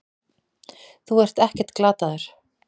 Þú ert ekkert glataður.